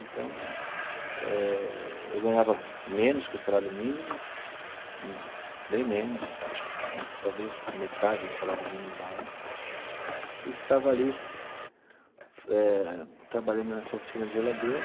Então, eh eu ganhava menos que um salário mínimo, bem menos, acho que talvez metade do salário mínimo da época, e ficava ali eh trabalhando nessa oficina de geladeira,